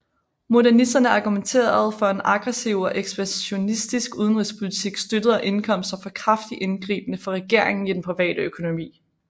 Modernisterne argumenterede for en aggressiv og ekspansionistisk udenrigspolitik støttet af indkomster fra kraftigt ingribende fra regeringen i den private økonomi